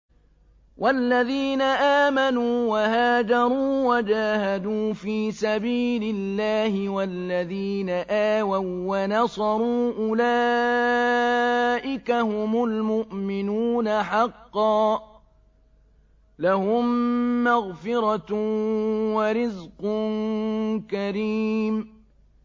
وَالَّذِينَ آمَنُوا وَهَاجَرُوا وَجَاهَدُوا فِي سَبِيلِ اللَّهِ وَالَّذِينَ آوَوا وَّنَصَرُوا أُولَٰئِكَ هُمُ الْمُؤْمِنُونَ حَقًّا ۚ لَّهُم مَّغْفِرَةٌ وَرِزْقٌ كَرِيمٌ